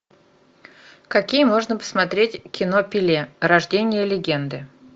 какие можно посмотреть кино пеле рождение легенды